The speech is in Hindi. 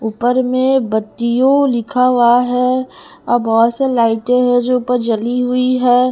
ऊपर में बत्तियों लिखा हुआ है और बहुत सा लाइटें है जो ऊपर जली हुई है।